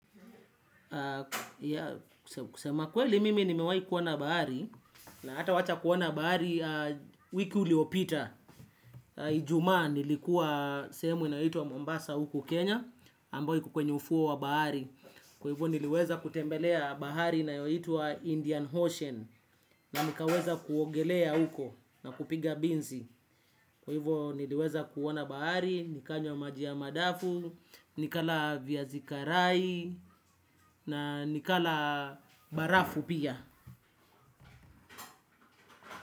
Sema kweli mimi nimewahi kuona bahari. Na hata wacha kuona bahari wiki uliopita Ijumaa nilikuwa sehemu inayoitwa Mombasa huku Kenya Ambao iko kwenye ufuo wa bahari. Kwa hivyo niliweza kutembelea bahari inayoitwa Indian Ocean. Na nikaweza kuogelea huko na kupiga binzi. Kwa hivyo niliweza kuona bahari. Nikanywa maji ya madafu. Nikala viazi karai na nikala barafu pia.